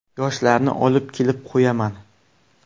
Yoshlarni olib kelib qo‘yaman.